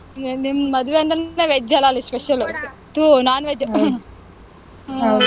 ಹ್ಮ್, ನಿಮ್ ಮದ್ವೆ ಅಂದ್ರೆನೇ veg ಅಲ್ಲಾ ಅಲ್ಲಿ special ಥೂ, non-veg ಹ್ಮ್.